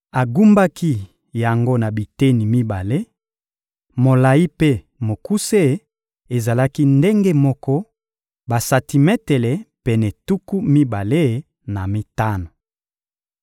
Agumbaki yango na biteni mibale; molayi mpe mokuse ezalaki ndenge moko, basantimetele pene tuku mibale na mitano.